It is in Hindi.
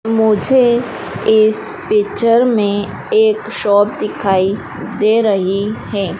मुझे इस पिक्चर में एक शॉप दिखाई दे रही हैं।